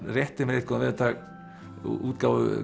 rétti mér einn góðan veðurdag útgáfu